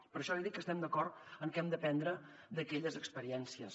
per això li dic que estem d’acord en que hem d’aprendre d’aquelles expe riències